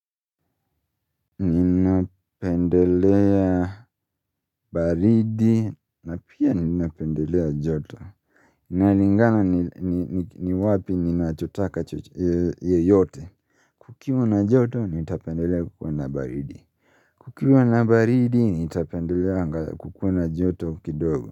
Ninapendelea baridi na pia ninapendelea joto Nalingana ni wapi ninachotaka yeyote Kukiwa na joto nitapendelea kukua na baridi Kukiwa na baridi nitapendelea kukua na joto kidogo.